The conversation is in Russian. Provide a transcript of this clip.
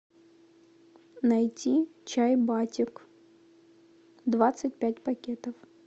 найти чай батик двадцать пять пакетов